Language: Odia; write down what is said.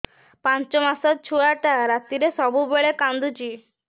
ପାଞ୍ଚ ମାସ ଛୁଆଟା ରାତିରେ ସବୁବେଳେ କାନ୍ଦୁଚି